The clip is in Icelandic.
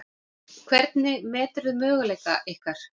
Hvernig meturðu möguleika ykkar?